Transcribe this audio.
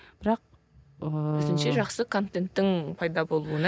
бірақ ыыы өзінше жақсы контенттің пайда болуына